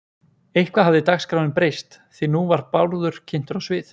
Eitthvað hafði dagskráin breyst því nú var Bárður kynntur á svið